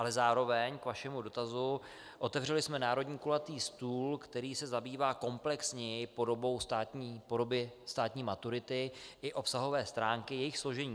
Ale zároveň k vašemu dotazu - otevřeli jsme národní kulatý stůl, který se zabývá komplexněji podobou státní maturity i obsahové stránky jejich složení.